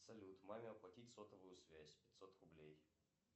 салют маме оплатить сотовую связь пятьсот рублей